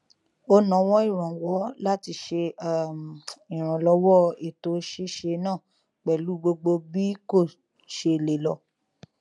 ó nawọ ìrànwọ láti ṣe um ìrànlọwọ ètò ṣíṣe náà pẹlú gbogbo bí kò ṣe lè lọ